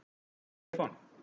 Stefán